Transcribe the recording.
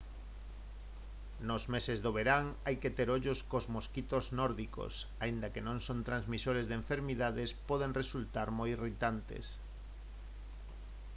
nos meses de verán hai que ter ollo cos mosquitos nórdicos aínda que non son transmisores de enfermidades poden resultar moi irritantes